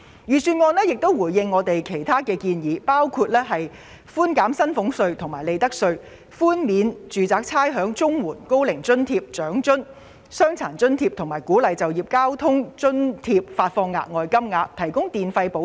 預算案亦回應了我們的其他建議，包括寬減薪俸稅和利得稅；寬免住宅差餉；綜援、高齡津貼、長者生活津貼、傷殘津貼和鼓勵就業交通津貼發放額外金額，以及提供電費補貼。